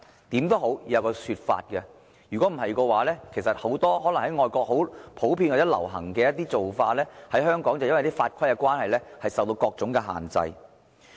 無論如何，政府也應該提出一種說法，否則很多外國很普遍或流行的做法，在香港卻因為法規關係而受到各種限制。